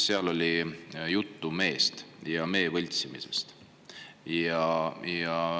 Seal oli juttu meest ja mee võltsimisest.